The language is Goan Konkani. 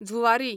झुवारी